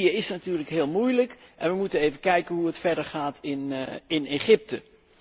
Libië is natuurlijk heel moeilijk en wij moeten even kijken hoe het verder gaat in Egypte.